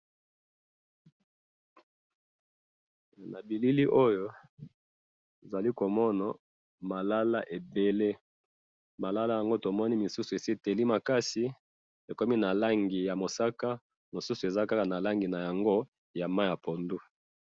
Na bilili oyo nazali komona ,malala ebele, malala yango tomoni misusu esi eteli makasi ekomi na langi ya mosaka misusu eza kaka na langi yango ya mai ya pondu